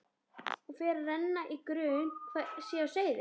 Og fer að renna í grun hvað sé á seyði.